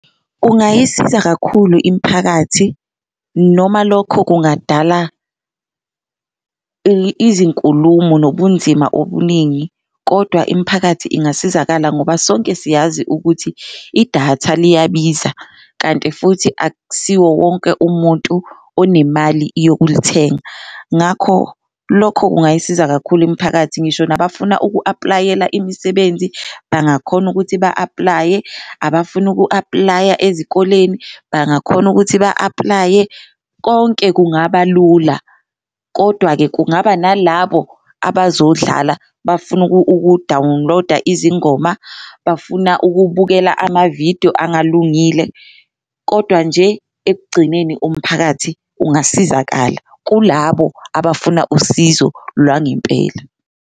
Kungayisiza kakhulu imphakathi noma lokho kungadala izinkulumo nobunzima obuningi kodwa imphakathi ingasizakala ngoba sonke siyazi ukuthi idatha liyabiza, kanti futhi akusiwo wonke umuntu onemali yokulithenga. Ngakho lokho kungayisiza kakhulu imiphakathi ngisho nabafuna uku-aplayela imisebenzi bangakhona ukuthi ba-aplaye, abafuna uku-aplaya ezikoleni bangakhona ukuthi ba-aplaye konke kungaba lula. Kodwa-ke, kungaba nalabo abazodlala bafuna uku-download-a izingoma, bafuna ukubukela amavidiyo engalungile, kodwa nje ekugcineni umphakathi ungasizakala kulabo abafuna usizo lwangempela.